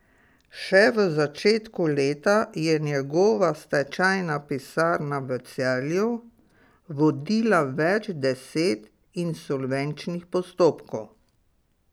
Še v začetku leta je njegova stečajna pisarna v Celju vodila več deset insolvenčnih postopkov.